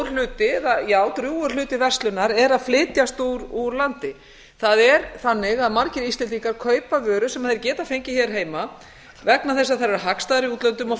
hluti já drjúgur hluti verslunar er að flytjast úr landi það er þannig að margir íslendingar kaupa vöru sem þeir geta fengið hér heima vegna þess að þær eru hagstæðari í útlöndum og